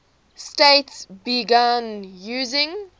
states began using